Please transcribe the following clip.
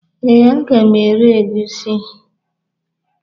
Ee, a ga m ere egusi